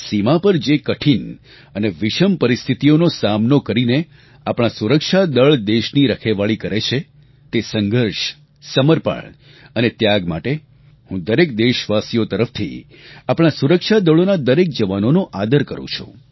સીમા પર જે કઠિન અને વિષમ પરિસ્થિતિઓનો સામનો કરીને આપણા સુરક્ષાદળ દેશની રખેવાળી કરે છે તે સંઘર્ષ સમર્પણ અને ત્યાગ માટે હું દરેક દેશવાસીઓ તરફથી આપણા સુરક્ષાદળોનાં દરેક જવાનોનો આદર કરૂ છું